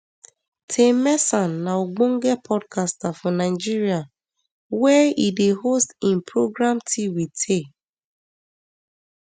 taymesan na ogbonge podcaster for nigeria wia e dey host im programtea with tay